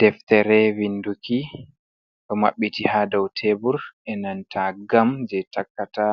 Deftere vinduki o maɓɓiti haa daw teebur e nanta gam jey takkata